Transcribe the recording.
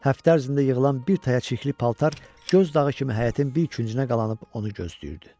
Həftə ərzində yığılan bir taya çirkli paltar göz dağı kimi həyətin bir küncünə qalanıb onu gözləyirdi.